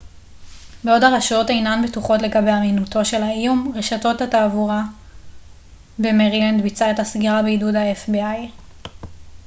בעוד הרשויות אינן בטוחות לגבי אמינותו של האיום רשות התעבורה במרילנד ביצעה את הסגירה בעידוד ה-fbi